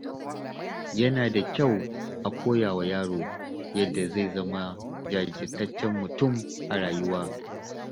Yana da kyau a koya wa yaro yadda zai zama jajirtaccen mutum a rayuwa.